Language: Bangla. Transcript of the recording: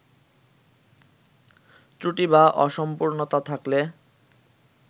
ত্রুটি বা অসম্পূর্ণতা থাকলে